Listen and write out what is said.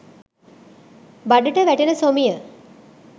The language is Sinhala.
බඩට වැටෙන සොමිය